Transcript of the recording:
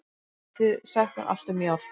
Getið þið sagt mér allt um járn?